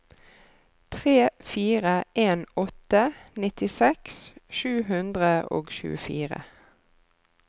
tre fire en åtte nittiseks sju hundre og tjuefire